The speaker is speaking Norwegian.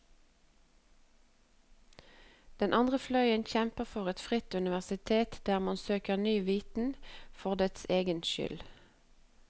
Den andre fløyen kjemper for et fritt universitet der man søker ny viten for dens egen skyld.